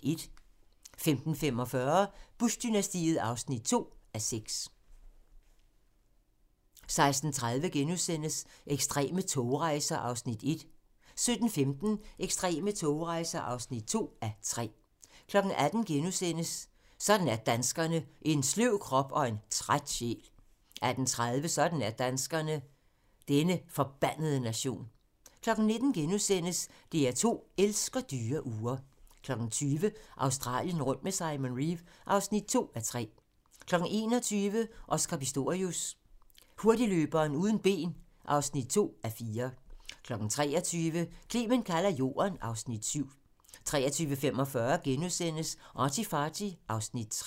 15:45: Bush-dynastiet (2:6) 16:30: Ekstreme togrejser (1:3)* 17:15: Ekstreme togrejser (2:3) 18:00: Sådan er danskerne: En sløv krop og en træt sjæl * 18:30: Sådan er danskerne: Denne forbandede nation 19:00: DR2 elsker dyre ure * 20:00: Australien rundt med Simon Reeve (2:3) 21:00: Oscar Pistorius: Hurtigløberen uden ben (2:4) 23:00: Clement kalder jorden (Afs. 7) 23:45: ArtyFarty (Afs. 3)*